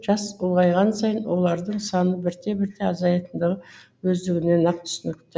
жас ұлғайған сайын олардың саны бірте бірте азаятындығы өздігінен ақ түсінікті